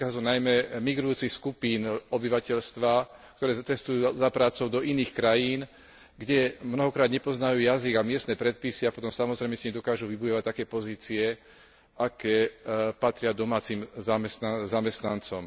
Týka sa to najmä migrujúcich skupín obyvateľstva, ktoré cestujú za prácou do iných krajín, kde mnohokrát nepoznajú jazyk a miestne predpisy a potom samozrejme si nedokážu vybudovať také pozície, aké patria domácim zamestnancom.